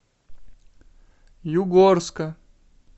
югорска